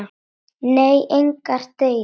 Nei, engar deilur.